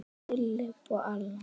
Philip, Allan.